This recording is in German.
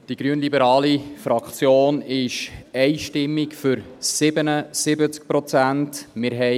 Die grünliberale Fraktion ist einstimmig für 77 Prozent.